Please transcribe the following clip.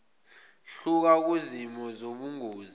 hluka kuzimo zobungozi